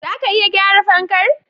Zaka iya gyara fankar?